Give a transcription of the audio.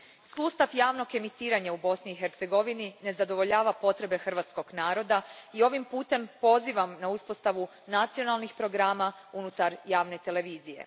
Sustav javnog emitiranja u Bosni i Hercegovini ne zadovoljava potrebe hrvatskog naroda i ovim putem pozivam na uspostavu nacionalnih programa unutar javne televizije.